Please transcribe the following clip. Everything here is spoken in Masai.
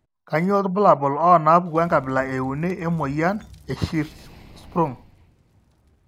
Kainyio irbulabul onaapuku enkabila euni emuoyian eHirschsprung?